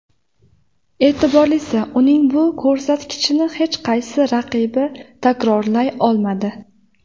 E’tiborlisi, uning bu ko‘rsatkichini hech qaysi raqibi takrorlay olmadi.